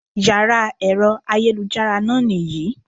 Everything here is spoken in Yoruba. Yàrá èro ayélujára náà nì yí